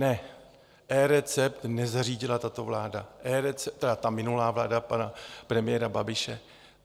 Ne, eRecept nezařídila tato vláda, tedy ta minulá vláda pana premiéra Babiše.